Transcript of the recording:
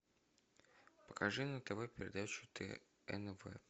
покажи на тв передачу тнв